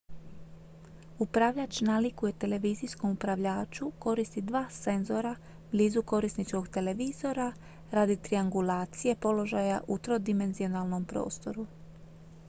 upravljač nalikuje televizijskom upravljaču koristi dva senzora blizu korisničkog televizora radi triangulacije položaja u trodimenzionalnom prostoru